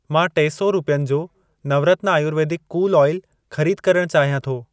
मां टे सौ रुपियनि जो नवरत्न आयुर्वेदिक कूल ऑइल, ख़रीद करण चाहियां थो।